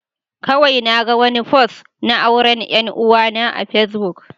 Kawai naga wani fost na auren 'yar uwana a Facebook.